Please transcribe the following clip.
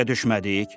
xətaya düşmədik?